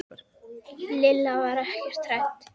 Lilla var ekkert hrædd.